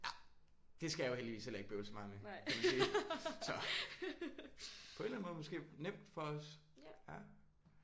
Ja. Det skal jeg jo heldigvis heller ikke bøvle så meget med kan man sige. Så på en eller anden måde måske nemt for os